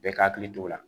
Bɛɛ ka hakili t'o la